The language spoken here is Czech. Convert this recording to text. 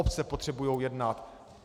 Obce potřebují jednat.